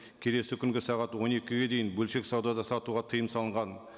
келесі күнгі сағат он екіге дейін бөлшек саудада сатуға тыйым салынған